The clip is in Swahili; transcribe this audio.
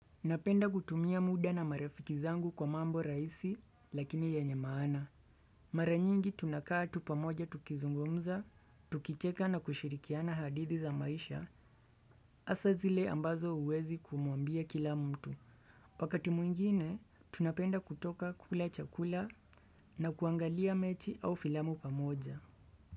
Napenda kutumia muda na marafiki zangu kwa mambo rahisi lakini yenye maana. Mara nyingi tunakaa tu pamoja tukizungumza, tukicheka na kushirikiana hadithi za maisha hasa zile ambazo huwezi kumuambia kila mtu. Wakati mwingine tunapenda kutoka kula chakula na kuangalia mechi au filamu pamoja.